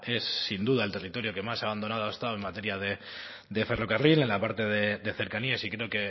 es sin duda el territorio que más abandonado ha estado en materia de ferrocarril en la parte de cercanías y creo